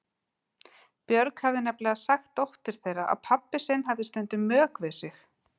Björg hefði nefnilega sagt dóttur þeirra að pabbi sinn hefði stundum mök við sig.